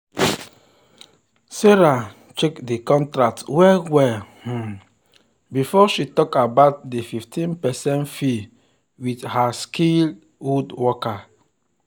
sarah check the contract well well um before she talk about the 15 percent fee with her skilled woodworker.